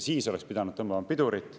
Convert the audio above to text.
Siis oleks pidanud tõmbama pidurit.